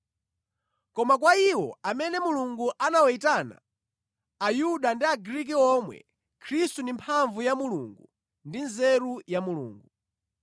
Koma kwa iwo amene Mulungu anawayitana, Ayuda ndi Agriki omwe, Khristu ndi mphamvu ya Mulungu ndi nzeru za Mulungu.